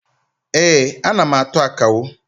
Ee, ana m atụ akawo.